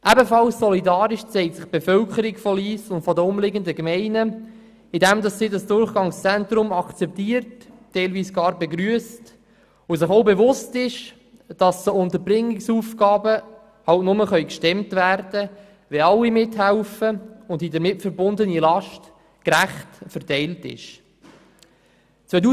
Ebenfalls solidarisch zeigt sich die Bevölkerung von Lyss und der umliegenden Gemeinden, indem sie das Durchgangszentrum akzeptiert, zum Teil sogar begrüsst und sich auch bewusst ist, dass die Unterbringungsaufgaben nur dann gestemmt werden können, wenn alle mithelfen und die damit verbundene Last gerecht verteilt wird.